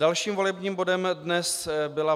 Dalším volebním bodem dnes byl